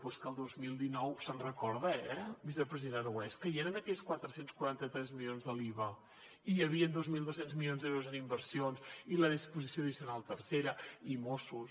però és que el dos mil dinou se’n recorda eh vicepresident aragonès que hi eren aquells quatre cents i quaranta tres milions de l’iva i hi havien dos mil dos cents milions d’euros en inversions i la disposició addicional tercera i mossos